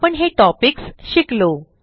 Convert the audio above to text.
आपण हे टॉपिक्स शिकलो